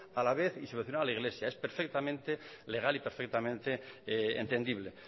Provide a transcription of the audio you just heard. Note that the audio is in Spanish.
a la vez y subvencionar a la iglesia es perfectamente legal y perfectamente entendible